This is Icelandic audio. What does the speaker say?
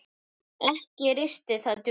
Ekki risti það djúpt.